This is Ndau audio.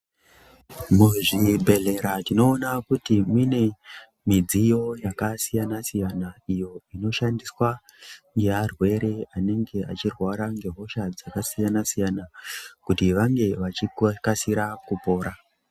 Muzvibhedhlera tinoona kuti mune midziyo yakasiyana siyana iyo inoshandiswa yearwere anenge achirwara ngehosha dzakasiyana siyana kuti vange vachikasira kupora.